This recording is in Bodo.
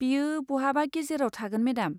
बेयो बहाबा गेजेराव थागोन मेडाम।